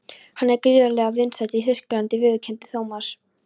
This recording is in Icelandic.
Hann er gríðarlega vinsæll í Þýskalandi viðurkenndi Thomas.